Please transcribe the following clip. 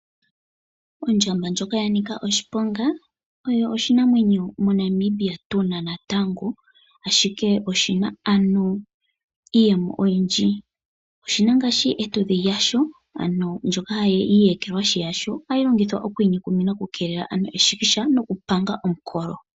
Ondjamba ndjoka ya nika oshiponga, oyo oshinamwenyo moNamibia tuna natango. Ashike oshina ano iiyemo oyindji. Oshina ngaashi etudhi lyasho, ano iiyekelwahi yasho hali longithwa okwiinyukumina okukeelela ano eshikisha nokupanga omukolo.